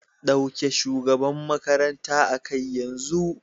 Dauke shugaban makarantar a kai yanzu.